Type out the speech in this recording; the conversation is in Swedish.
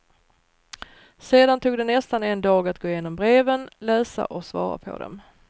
Sedan tog det nästan en dag att gå igenom breven, läsa och svara på dem.